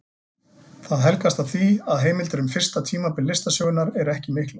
Það helgast af því að heimildir um fyrsta tímabil listasögunnar eru ekki miklar.